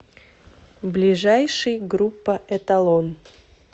ближайший группа эталон